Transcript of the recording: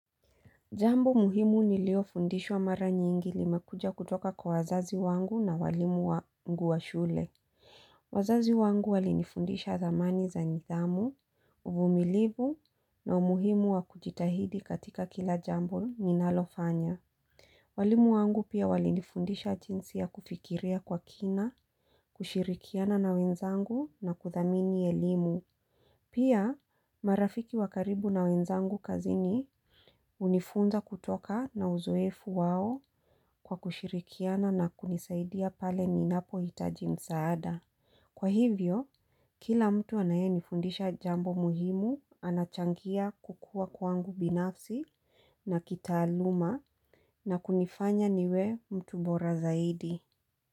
Jambo muhimu nilio fundishwa mara nyingi limekuja kutoka kwa wazazi wangu na walimu wangu wa shule. Wazazi wangu walinifundisha zamani za nidhamu, uvumilivu na umuhimu wa kujitahidi katika kila jambo ninalofanya. Walimu wangu pia walinifundisha jinsi ya kufikiria kwa kina, kushirikiana na wenzangu na kuthamini elimu. Pia marafiki wa karibu na wenzangu kazini hunifunza kutoka na uzoefu wao kwa kushirikiana na kunisaidia pale ninapo hitaji msaada. Kwa hivyo, kila mtu anaye nifundisha jambo muhimu anachangia kukua kwangu binafsi na kitaaluma na kunifanya niwe mtu bora zaidi.